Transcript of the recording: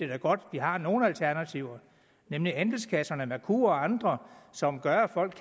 er godt at vi har nogle alternativer nemlig andelskasserne merkur og andre som gør at folk